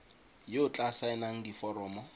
yo o tla saenang diforomo